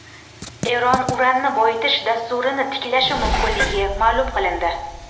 Eron uranni boyitish dasturini tiklashi mumkinligi ma’lum qilindi.